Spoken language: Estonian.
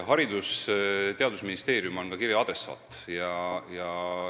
Haridus- ja Teadusministeerium on ka kirja adressaat.